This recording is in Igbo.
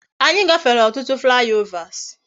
Anyi gafere otutu fly overs